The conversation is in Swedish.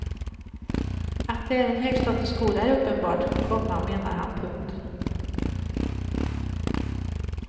Att det är en högstatusskola är uppenbart, komma menar han. punkt